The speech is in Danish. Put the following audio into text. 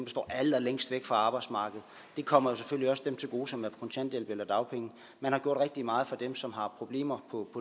står allermest væk fra arbejdsmarkedet det kommer jo selvfølgelig også dem til gode som er på kontanthjælp eller dagpenge man har gjort rigtig meget for dem som har problemer på